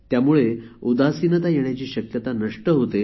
त्यामुळे उदासीनता येण्याची शक्यता नष्ट होते